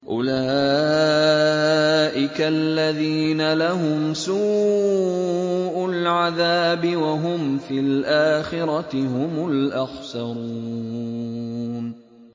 أُولَٰئِكَ الَّذِينَ لَهُمْ سُوءُ الْعَذَابِ وَهُمْ فِي الْآخِرَةِ هُمُ الْأَخْسَرُونَ